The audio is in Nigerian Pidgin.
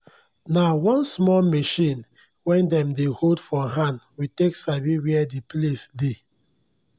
nah one small machine wen dem dey hold for hand we take sabi where the place dey